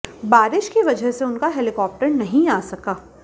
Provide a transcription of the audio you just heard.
बारिश की वजह से उनका हेलीकॉप्टर नहीं आ सका